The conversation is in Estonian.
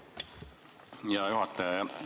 Hea juhataja!